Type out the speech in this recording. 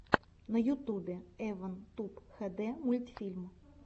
на ютубе эван туб хэ дэ мультфильм